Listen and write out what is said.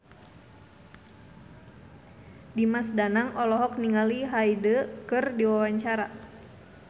Dimas Danang olohok ningali Hyde keur diwawancara